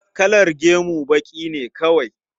Kalar gemu baƙi ne kawai?